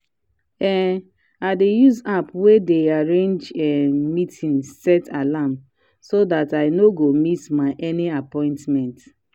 um i dey use app wey dey arrange um meeting set alarm so dat i no go miss any appointment.